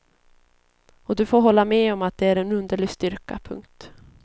Och du får hålla med om att det är en underlig styrka. punkt